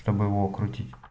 чтобы его окрутить